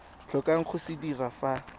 tlhokang go se dira fa